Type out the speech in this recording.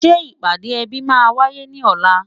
Ṣé ìpàdé ẹbí máa wáyé ní ọ̀la?